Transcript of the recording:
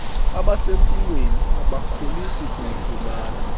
abasempilweni abakholisi kuyifumana